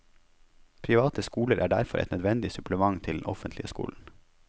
Private skoler er derfor et nødvendig supplement til den offentlige skolen.